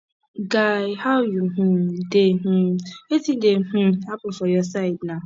guy how you um dey um wetin dey um happen for your side na